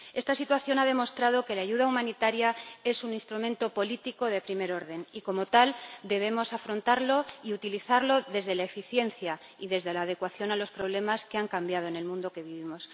Esta situación ha demostrado que la ayuda humanitaria es un instrumento político de primer orden, y como tal debemos afrontarlo y utilizarlo desde la eficiencia y desde la adecuación a los problemas, que han cambiado en el mundo en que vivimos.